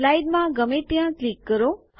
slide માં ગમે ત્યાં ક્લિક કરો